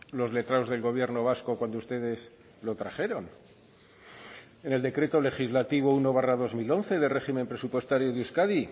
los letrados del gobierno vasco cuando ustedes lo trajeron en el decreto legislativo uno barra dos mil once de régimen presupuestario de euskadi